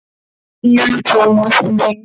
Nei, Thomas minn.